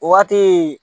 O waati